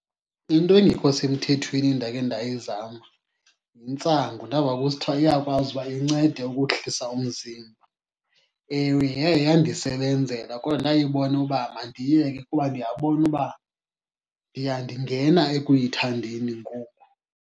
Into engekho semthethweni endake ndayizama yintsangu. Ndava kusithiwa iyakwazi uba incede ukuhlisa umzimba. Ewe, yaye yandisebenzela kodwa ndayibona uba mandiyiyeke kuba ndiyabona uba ndiya ndingena ekuyithandeni ngoku.